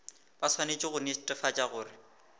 ba swanetše go netefatša gore